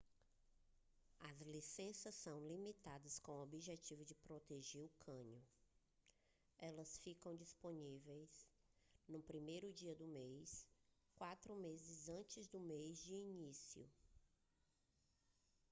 as licenças são limitadas com objetivo de proteger o cânion elas ficam disponíveis no primeiro dia do mês quatro meses antes do mês de início